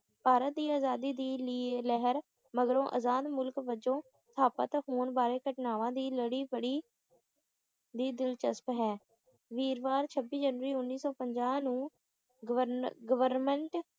ਭਾਰਤ ਦੀ ਆਜ਼ਾਦੀ ਦੀ ਲਹਿਰ ਮਗਰੋਂ ਆਜ਼ਾਦ ਮੁਲਕ ਵਜੋਂ ਸਥਾਪਤ ਹੋਣ ਵਾਲੇ ਘਟਨਾਵਾਂ ਦੀ ਲੜੀ ਬੜੀ ਵੀ ਦਿਲਚਸਪ ਹੈ ਵੀਰਵਾਰ ਛੱਬੀ ਜਨਵਰੀ ਉੱਨੀ ਸੌ ਪੰਜਾਹ ਨੂੰ ਗਵਰ`ਗਵਰਮੈਂਟ